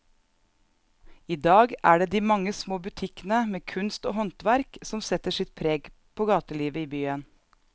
I dag er det de mange små butikkene med kunst og håndverk som setter sitt preg på gatelivet i byen.